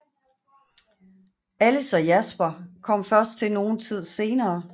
Alice og Jasper kom først til nogen tid senere